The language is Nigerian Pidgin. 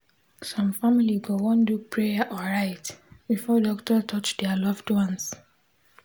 some family go want do prayer or rite before doctor touch their loved one.